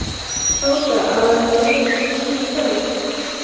Tóta að hann yrði ekki heima í kvöld.